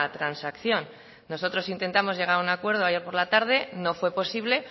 transacción nosotros intentamos llegar a un acuerdo ayer por la tarde no fue posible